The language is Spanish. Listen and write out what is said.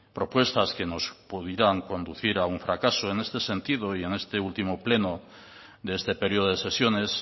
propuestas que nos pudieran conducir a un fracaso en este sentido y en este último pleno de este periodo de sesiones